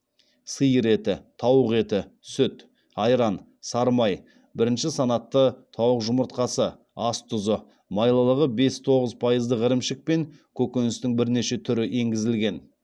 сиыр еті тауық еті сүт айран сары май бірінші санатты тауық жұмыртқасы ас тұзы майлылығы бес тоғыз пайыздық ірімшік пен көкөністің бірнеше түрі енгізілген